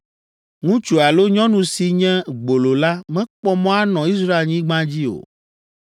“Ŋutsu alo nyɔnu si nye gbolo la mekpɔ mɔ anɔ Israelnyigba dzi o.